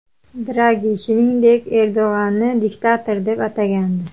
Dragi, shuningdek, Erdo‘g‘anni diktator deb atagandi.